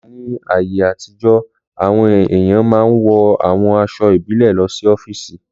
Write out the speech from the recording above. Láti Ní ayé àtijọ́, àwọn èèyàn máa n wọ àwọn aṣọ ìbílẹ̀ lọ sí ọ́fìsì